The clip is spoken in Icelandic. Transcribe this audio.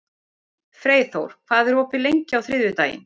Freyþór, hvað er opið lengi á þriðjudaginn?